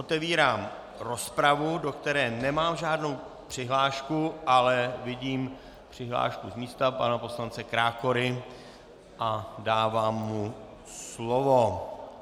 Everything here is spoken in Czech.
Otevírám rozpravu, do které nemám žádnou přihlášku, ale vidím přihlášku z místa pana poslance Krákory a dávám mu slovo.